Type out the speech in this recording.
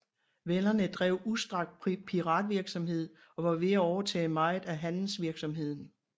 Venderne drev udstrakt piratvirksomhed og var ved at overtage meget af handelsvirksomheden